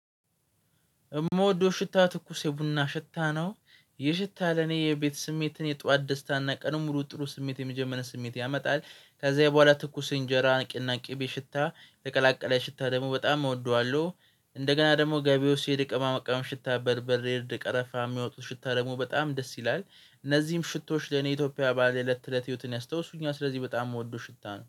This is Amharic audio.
የምወደው ሽታ ትኩስ የቡና ሽታ ነው። ይህ ሽታ ለኔ የቤት ስሜትን የጧት ደስታና ቀኑን ሙሉ ጥሩ ስሜት የሚጀምር ስሜት ያመጣል። ከዛ የበኋላ ትኩስ እንጀራ እና ቂቤና ሽታ የቀላቀለ ሽታ ደግሞ በጣም እወደዋለሁ። እንደገና ደግሞ ግቢ ውስጥ ስሄድ የቅመማ ቅመም ሽታ በርበሬ እርድ ቀረፋ የሚያወጡ ሽታ ደግሞ በጣም ደስ ይላል። እነዚህም ሽታወች ለኔ ኢትዮጵያ ባህል የእለት ከእለት ህይወትን ያስታውሱኛል ስለዚህ በጣም የምወደው ሽታ ነው